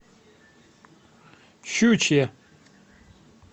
щучье